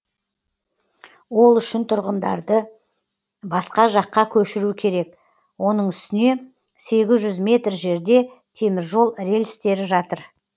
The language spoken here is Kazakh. ол үшін тұрғындарды басқа жаққа көшіру керек оның үстіне сегіз жүз метр жерде теміржол рельстері жатыр